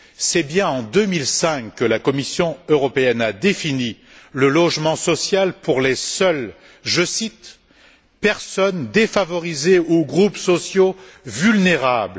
C'est bien en 2005 que la Commission européenne a défini le logement social pour le réserver aux seuls je cite personnes défavorisées ou groupes sociaux vulnérables.